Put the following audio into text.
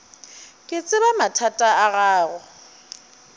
ke tseba mathata a gago